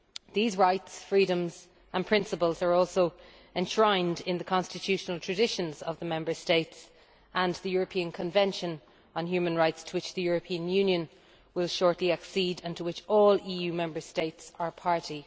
These rights, freedoms and principles are also enshrined in the constitutional traditions of the Member States and the European Convention on Human Rights, to which the European Union will shortly accede and to which all EU Member States are party.